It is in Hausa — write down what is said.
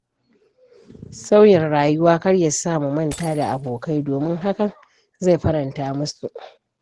Sauyin rayuwa kar ya sa mu manta da abokai, domin hakan zai faranta musu.